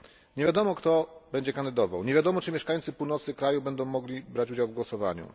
Nie wiadomo, kto będzie kandydował, nie wiadomo, czy mieszkańcy północy kraju będą mogli brać udział w głosowaniu.